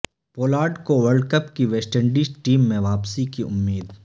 Pollard کو world cup کی West Indies team میں واپسی کی امید